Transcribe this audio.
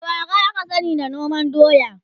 gwarawa aka sani da noman doya